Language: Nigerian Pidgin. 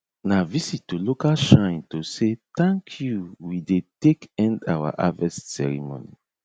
na visit to local shrine to say thank you we dey take end our harvest ceremony